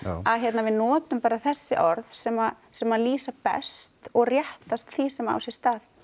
að við notum bara þessi orð sem sem lýsa best og réttast því sem á sér stað